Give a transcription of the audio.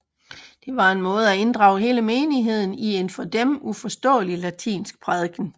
Den var en måde at inddrage hele menigheden i en for dem uforståelig latinsk prædiken